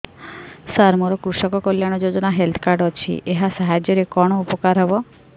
ସାର ମୋର କୃଷକ କଲ୍ୟାଣ ଯୋଜନା ହେଲ୍ଥ କାର୍ଡ ଅଛି ଏହା ସାହାଯ୍ୟ ରେ କଣ ଉପକାର ହବ